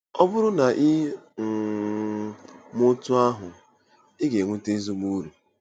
Ọ bụrụ na i um mee otú ahụ, ị ga-enweta ezigbo uru.